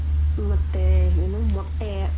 ಮತ್ತೆ ಏನು ಮೊಟ್ಟೆ.